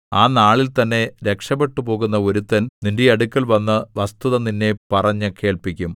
ആ നാളിൽ തന്നെ രക്ഷപെട്ടുപോകുന്ന ഒരുത്തൻ നിന്റെ അടുക്കൽവന്ന് വസ്തുത നിന്നെ പറഞ്ഞു കേൾപ്പിക്കും